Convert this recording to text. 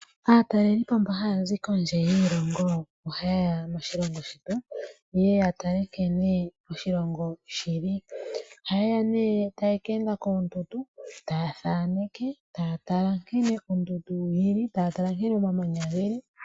Aatalelipo mbo haya zi kondje yiilongo oha yeya moshilongo shetu yeye yatale nkene oshilongo shili. Oha yeya nee taye ke enda koondundu taya thaneke, taya tala nkene ondundu yili, taya tala nkene oomamanya geli.